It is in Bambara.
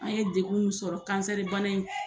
An ye degunw sɔrɔ kansɛribana in